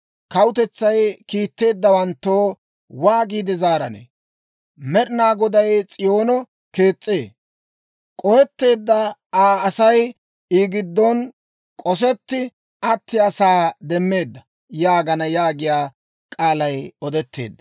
Kawutetsay kiitteeddawanttoo waagiide zaaranee? Med'inaa Goday ‹S'iyoono kees's'ee; k'ohetteedda Aa Asay I giddon k'osetti attiyaasaa demmeeda› yaagana» yaagiyaa k'aalay odetteedda.